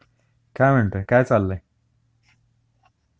काय म्हणतोय ,काय चाललंय